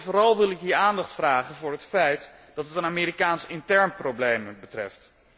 Vooral wil ik hier aandacht vragen voor het feit dat het een Amerikaans intern probleem betreft.